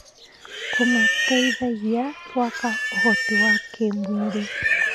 Kũmateithagia gwaka ũhoti wa kĩmwĩrĩ.